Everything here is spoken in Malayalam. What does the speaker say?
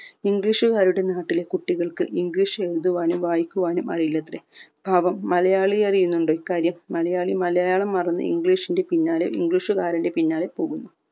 english കാരുടെ നാട്ടിലെ കുട്ടികൾക് english എഴുതുവാനും വായിക്കുവാനും അറിയില്ലത്രേ പാവം മലയാളി അറിയുന്നുണ്ടോ ഈ കാര്യം മലയാളി മലയാളം മറന്ന് english ന്റെ പിന്നാലെ english കാരന്റെ പിന്നാലെ പോകുന്നു